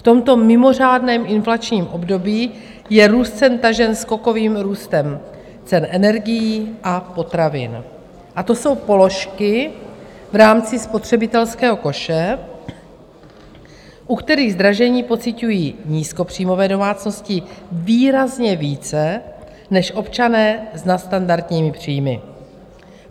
V tomto mimořádném inflačním období je růst cen tažen skokovým růstem cen energií a potravin a to jsou položky v rámci spotřebitelského koše, u kterých zdražení pociťují nízkopříjmové domácnosti výrazně více než občané s nadstandardními příjmy.